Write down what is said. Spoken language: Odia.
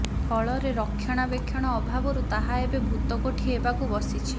ଫଳରେ ରକ୍ଷଣାବେକ୍ଷଣ ଅଭାବରୁ ତାହା ଏବେ ଭୂତକୋଠି ହେବାକୁ ବସିଛି